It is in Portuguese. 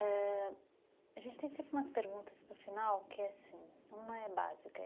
ãh... A gente tem sempre umas perguntas para o final que é assim, uma é básica.